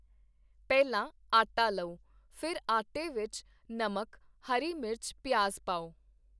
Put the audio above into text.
ਪਹਿਲਾਂ ਆਟਾ ਲਓ, ਫਿਰ ਆਟੇ ਵਿੱਚ ਨਮਕ ਹਰੀ ਮਿਰਚ ਪਿਆਜ਼ ਪਾਓ